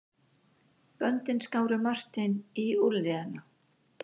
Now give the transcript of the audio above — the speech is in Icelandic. Böndin skáru Martein í úlnliðina.